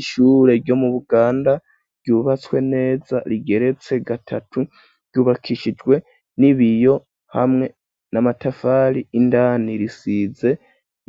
Ishure ryo mu Buganda ,ryubatswe neza rigeretse gatatu ,ryubakishijwe n'ibiyo hamwe n'amatafari, indani risize